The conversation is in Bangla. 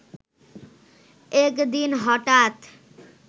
একদিন হঠাৎ